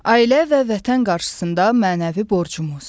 Ailə və vətən qarşısında mənəvi borcumuz.